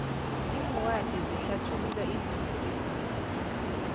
iincwadi zihlathulula izinto ezinengi